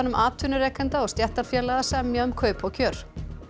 atvinnurekenda og stéttarfélaga að semja um kaup og kjör